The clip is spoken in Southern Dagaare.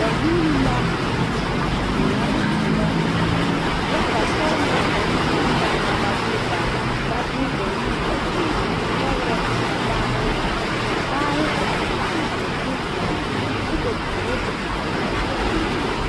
Ba vuune la a tona toma oroba sɔgelaa kaŋ niŋee la a ba de ba nuure a tuŋ pɛgrɛ laare kaa laare a biŋ biŋ a zie zaa kyɛ ka die a are a ba puoriŋ